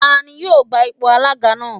Tani yóò gba ipò alága náà?